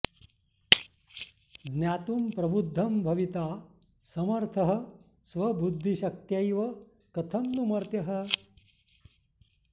ज्ञातुं प्रबुद्धं भविता समर्थः स्वबुद्धिशक्त्यैव कथं नु मर्त्यः